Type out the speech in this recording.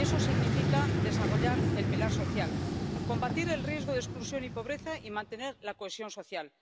Y eso significa desarrollar el pilar social, combatir el riesgo de exclusión y pobreza y mantener la cohesión social.